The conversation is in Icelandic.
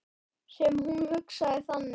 Sem hún hugsaði þannig.